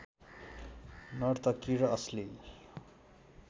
नर्तकी र अश्लील